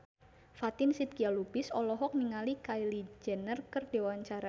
Fatin Shidqia Lubis olohok ningali Kylie Jenner keur diwawancara